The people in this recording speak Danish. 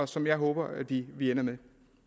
som jeg håber vi ender med